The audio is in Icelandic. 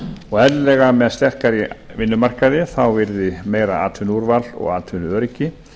og eðlilega með sterkari vinnumarkaði þá yrði meira atvinnuúrval og atvinnuöryggi